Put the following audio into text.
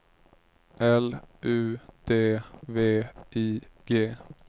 L U D V I G